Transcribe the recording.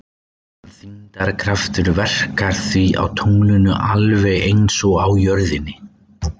Þyngdarkraftur verkar því á tunglinu alveg eins og á jörðinni.